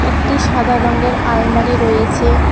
একটি সাদা রঙ্গের আলমারি রয়েছে।